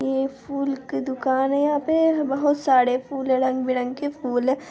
ये फूल की दुकान है यहाँ पे बहुत सारे फूल हैं रंग-बिरंग के फूल हैं।